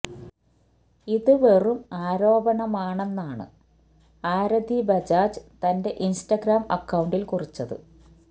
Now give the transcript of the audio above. ഇത് വെറും ആരോപണമാണെന്നാണ് ആരതി ബജാജ് തന്റെ ഇന്സ്റ്റഗ്രാം അക്കൌണ്ടില് കുറിച്ചത്